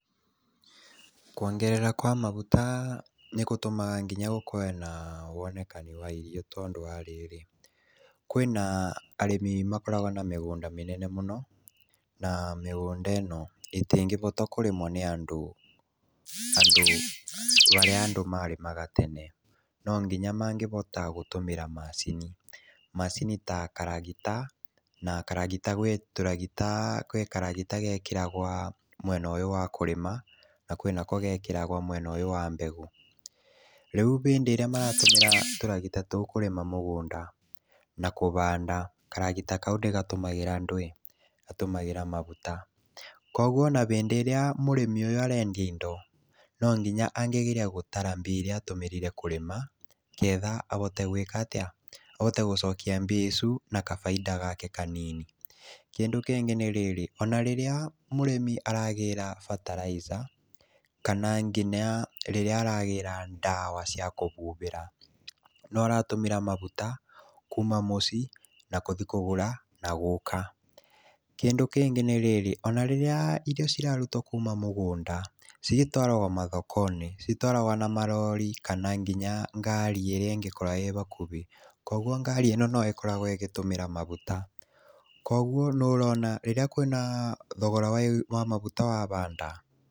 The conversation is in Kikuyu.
Kwongererwo kwa maguta nĩ gũtũmaga nginya gũkorwo na wonekani wa irio tondũ wa rĩrĩ, kwĩna arĩmi makoragwa na mĩgũnda mĩnene mũno na mĩgũnda ĩno ĩtĩngĩhotwo kũrĩmwa nĩ andũ tondũ harĩa andũ marĩmaga tene no nginya mangĩhota gũtũmĩra macini. Macini ta karagita, na karagita gwĩ karagita gekĩragwo mwena ũyũ wa kũrĩma na kwĩnako gekĩragwo mwena ũyũ wa mbegũ. Rĩũ hĩndĩ ĩrĩa maratũmĩra tũragita tũu kũrĩma mũgũnda na kũhanda karagita kau gatũmagĩra ndwĩ? Gatũmagĩra maguta, koguo ona hĩndĩ ĩrĩa mũrĩmi ũyũ arendia indo nonginya angĩgeria gũtara irio iria atũmĩrire kũrĩma nĩgetha ahote gwĩkatĩa? ahote gũcokia mbia icu na baida yake kanini. Kĩndũ kĩngĩ nĩ rĩrĩ, ona rĩrĩa mũrĩmi aragĩra bataraitha kana nginya rĩrĩa aragĩra ndawa cia kũbubĩra nĩũratũmíĩa maguta kuuma mũcii na gũthii kũgũra na gũka. Kĩndũ kĩngĩ nĩ rĩrĩ, ona rĩrĩa irio cirarutwo kuuma mũgũnda cigĩtwaragwo mathokonĩ, citwaragwo na marori kana nginya ngari iria ĩngĩkorwo ĩhakuhĩ, koguo ngari ĩno noĩkoragwa ĩgĩtũmĩra maguta, kwoguo nĩũrona kwĩna thogora wa maguta wahanda.